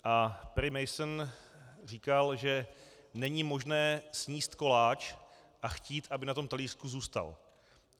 A Perry Mason říkal, že není možné sníst koláč a chtít, aby na tom talířku zůstal.